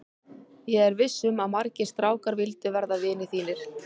Ég er viss um að margir strákar vildu verða vinir þínir.